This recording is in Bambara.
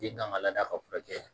Den kan ka laada ka furakɛ